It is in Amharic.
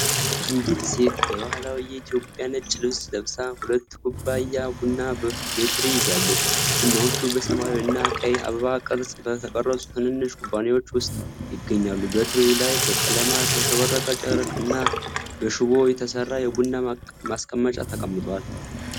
አንዲት ሴት በባህላዊ የኢትዮጵያ ነጭ ልብስ ለብሳ ሁለት ኩባያ ቡና በትሪ ይዛለች። ቡናዎቹ በሰማያዊ እና ቀይ አበባ ቅርጽ በተቀረጹ ትናንሽ ኩባያዎች ውስጥ ይገኛሉ። በትሪው ላይ በቀለማት ያሸበረቀ ጨርቅ እና በሽቦ የተሰራ የቡና ማስቀመጫ ተቀምጧል።